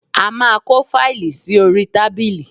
A máa kó fáìlì sí orí tábìlì